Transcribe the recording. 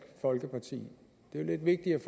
folkeparti det er lidt vigtigt